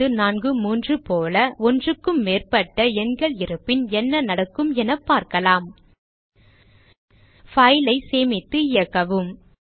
6543 போல ஒன்றுக்கும் மேற்பட்ட எண்கள் இருப்பின் என்ன நடக்கும் என பார்க்கலாம் file ஐ சேமித்து இயக்கவும்